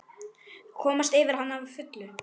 Komast yfir hana að fullu?